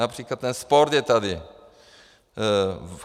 Například ten sport je tady.